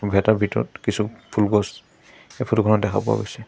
গেটৰ ভিতৰত কিছু ফুলগছ এই ফটোখনত দেখা পোৱা গৈছে।